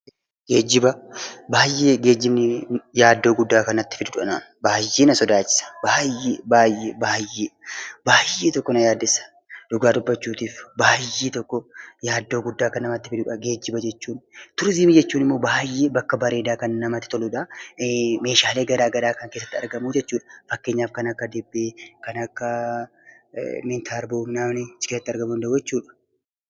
Geejiba Baayyee yaaddoo guddaa kan natti fiddudha anaan. Baayyee na na sodaachisa. Dhugaa dubbachuuf yaaddoo guddaa kan namatti fidudha geejiba jechuun. Turizimii jechuun immoo baayyee bakka bareedaa namatti toludha. Meeshaaleen garaagaraa keessatti kan argamu jechuudh fakkeenyaaf kan akka distii, tarboo achi keessatti argamuu danda'u jechuudha.